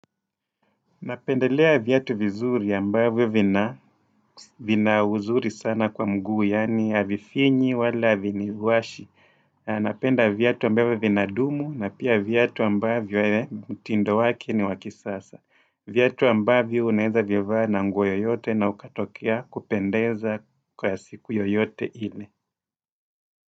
Napendelea viatu vizuri ambavyo vina vina uzuri sana kwa mguu, yani havifinyi wala haviniwashi. Napenda viatu ambavyo vinadumu na pia viatu ambavyo mtindo wake ni wa kisasa. Viatu ambavyo unaweza vivaa na nguo yoyote na ukatokea kupendeza kwa siku yoyote ile.